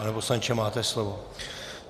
Pane poslanče, máte slovo.